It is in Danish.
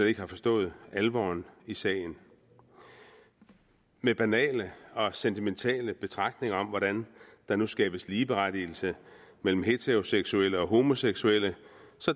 ikke har forstået alvoren i sagen med banale og sentimentale betragtninger om hvordan der nu skabes ligeberettigelse mellem heteroseksuelle og homoseksuelle